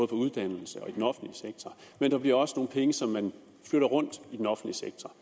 for uddannelserne og i den offentlige sektor men der bliver også nogle penge som man flytter rundt i den offentlige sektor